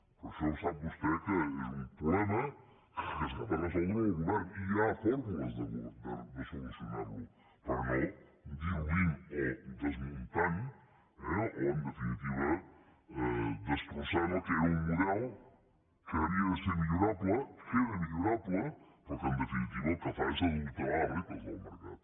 però això sap vostè que és un problema que ha de resoldre el govern i hi ha formes de solucionar·ho però no diluint o des·muntant eh o en definitiva destrossant el que era un model que havia de ser millorable que era millorable però que en definitiva el que fa és adulterar les regles del mercat